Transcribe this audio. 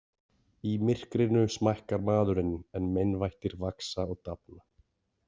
Í myrkrinu smækkar maðurinn en meinvættir vaxa og dafna.